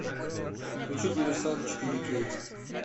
включи диверсант четыре кей